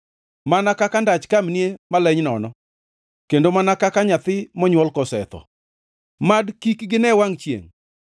Mana kaka ndach kamnie maleny nono, kendo mana kaka nyathi monywol kosetho, mad kik gine wangʼ chiengʼ.